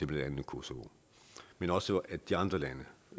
blandt andet kosovo men også få de andre lande